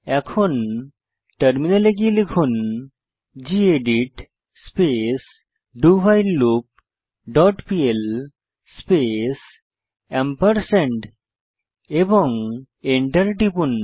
এখন টার্মিনালে গিয়ে লিখুন gedit space do while loop dot PL space তারপর এন্টার টিপুন